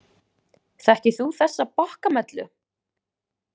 Þekkir þú þessa bokkamellu?